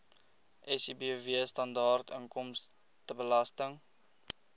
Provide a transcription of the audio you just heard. sibw standaard inkomstebelasting